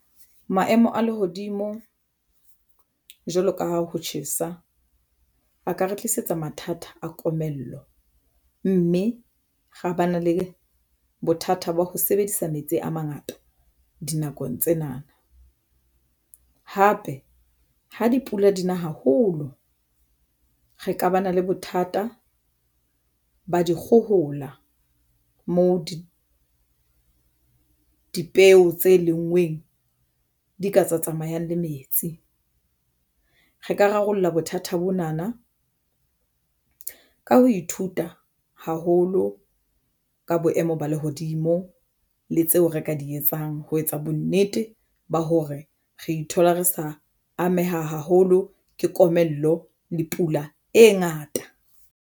Maemo a lehodimo jwalo ka ha ho tjhesa a ka re tlisetsa mathata a komello mme ra ba na le bothata ba ho sebedisa metsi a mangata dinakong tsena na, hape ha dipula dina haholo re ka ba na le bothata ba dikgohola moo dipeo tse lenngweng di ka tsa tsamayang le metsi. Re ka rarolla bothata bona na ka ho ithuta haholo ka boemo ba lehodimo le tseo re ka di etsang. Ho etsa bonnete ba hore re ithola re sa ameha haholo ke komello le pula e ngata.